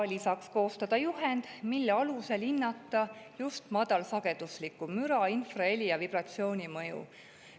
Lisaks tuleb koostada juhend, mille alusel hinnata just madalsagedusliku müra, infraheli ja vibratsiooni mõju.